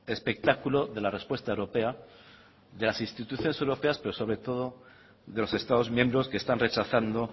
espectáculo de la respuesta europea de las instituciones europeas pero sobre todo de los estados miembros que están rechazando